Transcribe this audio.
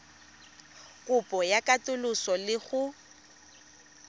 kopo ya katoloso le go